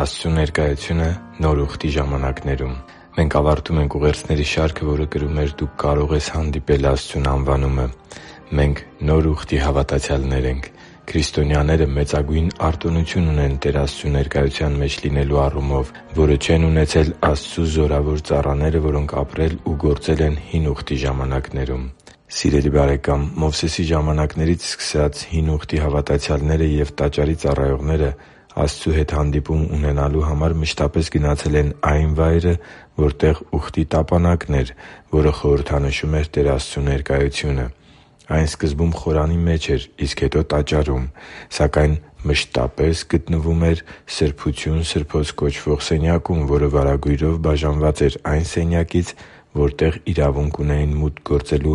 Աստծու ներկայությունը Նոր Ուխտի ժամանակներում Մենք ավարտում ենք ուղերձների շարքը, որը կրում էր «Դու կարո՛ղ ես հանդիպել Աստծուն» անվանումը։ Մենք Նոր Ուխտի հավատացյալներ ենք։ Քրիստոնյաները մեծագույն արտոնություն ունեն Տեր Աստծու ներկայության մեջ լինելու առումով, որը չեն ունեցել Աստծու զորավոր ծառաները, որոնք ապրել ու գործել են Հին Ուխտի ժամանակներում։ Սիրելի՛ բարեկամ, Մովսեսի ժամանակներից սկսած՝ Հին Ուխտի հավատացյալները և Տաճարի ծառայողները Աստծու հետ հանդիպում ունենալու համար մշտապես գնացել են այն վայրը, որտեղ Ուխտի Տապանակն էր, որը խորհրդանշում էր Տեր Աստծու ներկայությունը։ Այն սկզբում խորանի մեջ էր, իսկ հետո՝ Տաճարում, սակայն մշտապես գտնվում էր Սրբություն Սրբոց կոչվող սենյակում, որը վարագույրով բաժանված էր այն սենյակից, որտեղ իրավունք ունեին մուտք գործել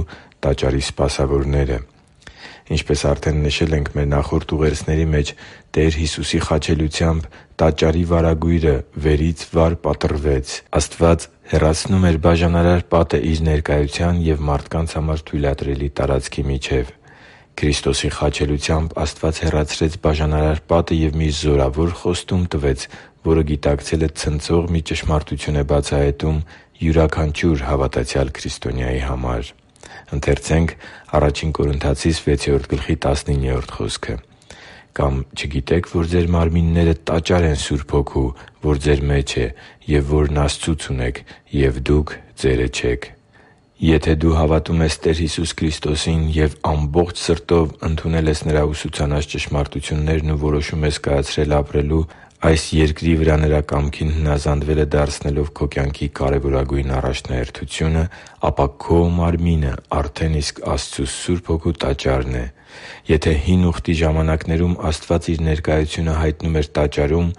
Տաճարի սպասավորները։ Ինչպես արդեն նշել ենք մեր նախորդ ուղերձների մեջ, Տեր Հիսուսի խաչելությամբ Տաճարի վարագույրը վերից վար պատռվեց։ Աստված հեռացնում էր բաժանարար պատը Իր ներկայության և մարդկանց համար թույլատրելի տարածքի միջև։ Քրիստոսի խաչելությամբ Աստված հեռացրեց բաժանարար պատը և մի զորավոր խոստում տվեց, որը գիտակցելը ցնցող մի ճշմարտություն է բացահայտում յուրաքանչյուր հավատացյալ քրիստոնյայի համար։ «Կամ չգիտե՞ք, որ ձեր մարմինները տաճար են Սուրբ Հոգու, որ ձեր մեջ է, և որն Աստծուց ունեք, և դուք ձերը չեք» (Ա Կորնթացիս 6․19): Եթե դու հավատում ես Տեր Հիսուս Քրիստոսին և ամբողջ սրտով ընդունել ես Նրա ուսուցանած ճշմարտություններն ու որոշում ես կայացրել ապրել՝ այս երկրի վրա Նրա կամքին հնազանդվելը դարձնելով քո կյանքի կարևորագույն առաջնահերթությունը, ապա քո մարմինը արդեն իսկ Աստծու Սուրբ Հոգու Տաճարն է։ Եթե Հին Ուխտի ժամանակներում Աստված Իր ներկայությունը հայտնում էր Տաճարում,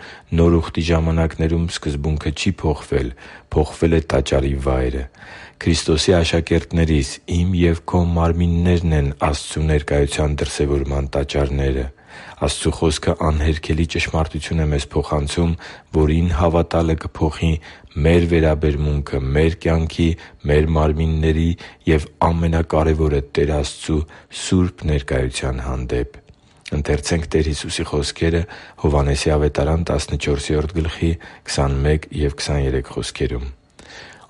Նոր Ուխտի ժամանակներում սկզբունքը չի փոխվել։ Փոխվել է Տաճարի վայրը։ Քրիստոսի աշակերտներիս՝ իմ և քո մարմիններն են Աստծու ներկայության դրսևորման տաճարները։ Աստծու Խոսքը անհերքելի ճշմարտություն է մեզ փոխանցում, որին հավատալը կփոխի մեր վերաբերմունքը մեր կյանքի, մեր մարմինների և, ամենակարևորը, Տեր Աստծու սուրբ ներկայության հանդեպ։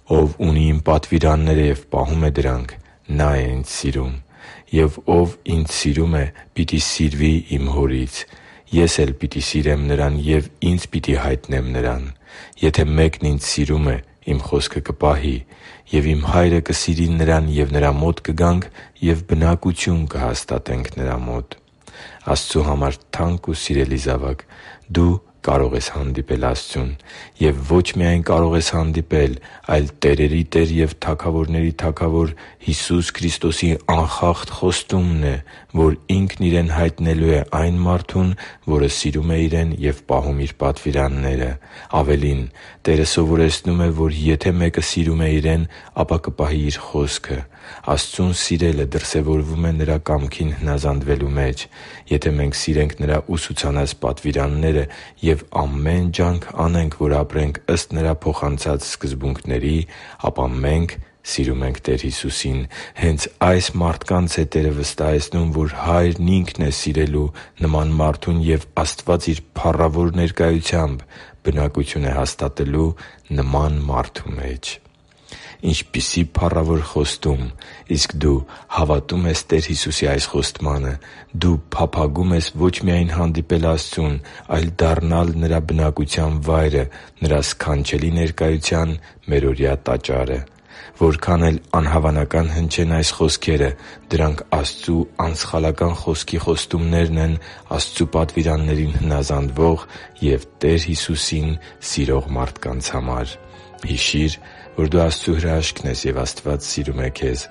«Ով ունի Իմ պատվիրանները և պահում է դրանք, նա՛ է Ինձ սիրում. ով Ինձ սիրում է, պիտի սիրվի Իմ Հորից, Ես էլ պիտի սիրեմ նրան և Ինձ պիտի հայտնեմ նրան։ Եթե մեկն Ինձ սիրում է, Իմ խոսքը կպահի։ Եվ Իմ Հայրը կսիրի նրան, և նրա մոտ կգանք ու բնակություն կհաստատենք նրա մոտ» (Հովհաննես 14.21,23): Աստծու համար թանկ ու սիրելի՛ զավակ, դու կարո՛ղ ես հանդիպել Աստծուն․․․ Եվ ո՛չ միայն կարող ես հանդիպել, այլ տերերի Տեր և թագավորների Թագավոր Հիսուս Քրիստոսի անխախտ խոստումն է, որ Ինքն Իրեն հայտնելու է այն մարդուն, որը սիրում է Իրեն և պահում Իր պատվիրանները։ Ավելին՝ Տերը սովորեցնում է, որ եթե մեկը սիրում է Իրեն, ապա կպահի Իր խոսքը։ Աստծուն սիրելը դրսևորվում է Նրա կամքին հնազանդվելու մեջ։ Եթե մենք սիրենք Նրա ուսուցանած պատվիրանները և ամեն ջանք անենք, որ ապրենք ըստ Նրա փոխանցած սկզբունքների, ապա մենք սիրում ենք Տեր Հիսուսին։ Հենց ա՛յս մարդկանց է Տերը վստահեցնում, որ Հայրն Ինքն է սիրելու նման մարդուն և Աստված Իր փառավոր ներկայությամբ բնակություն է հաստատելու նման մարդու մեջ։ Ինչպիսի՜ փառավոր խոստում։ Իսկ դու հավատո՞ւմ ես Տեր Հիսուսի այս խոստմանը։ Դու փափագո՞ւմ ես ո՛չ միայն հանդիպել Աստծուն, այլ դառնալ Նրա բնակության վայրը՝ Նրա սքանչելի ներկայության մերօրյա Տաճարը։ Որքան էլ անհավանական հնչեն այս խոսքերը, դրանք Աստծու անսխալական Խոսքի խոստումներն են Աստծու պատվիրաններին հնազանդվող և Տեր Հիսուսին սիրող մարդկանց համար։ Հիշի՛ր, որ դու Աստծո հրաշքն ես, և Աստված սիրում է քեզ։